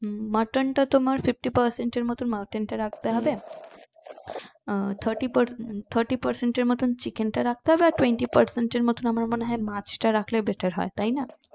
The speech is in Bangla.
mutton তা তোমার fifty percent এর মতো mutton টা রাখতে হবে আহ thirty per thirty percent এর মতো chicken টা রাখতে হবে আর twenty percent এর মতো আমার মনে হয় মাছটা রাখলে ভালো হয় তাইনা